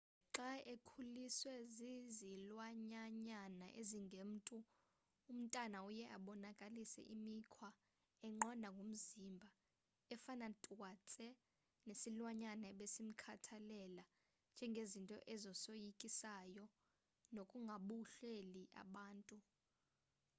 xa ekhuliswe zizilwanyanyana ezingemntu umntana uye abonakalise imikhwa enqandwa ngumzimba efana twatse nesilwanyana ebesimkhathalela njengezinto ezisoyikayo nokungohluleli abantu